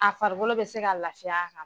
A farigolo bɛ se ka laafiy'a kan.